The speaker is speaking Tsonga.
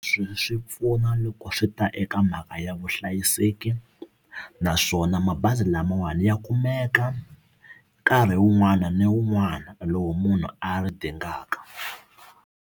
Swi pfuna loko swi ta eka mhaka ya vuhlayiseki naswona mabazi lamawani ya kumeka nkarhi wun'wana ni wun'wana lowu munhu a ri dingaka.